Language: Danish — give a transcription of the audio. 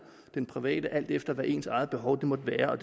den private alt efter hvad ens eget behov måtte være og